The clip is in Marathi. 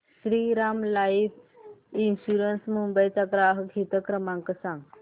श्रीराम लाइफ इन्शुरंस मुंबई चा ग्राहक हित क्रमांक सांगा